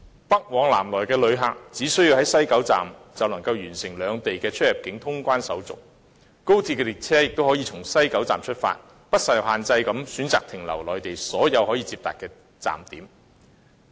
北往南來的旅客，只須在西九龍站就能夠完成兩地的出入境通關手續，而高鐵列車亦可以從西九龍站出發，不受限制地選擇停留內地所有可以接達的站點。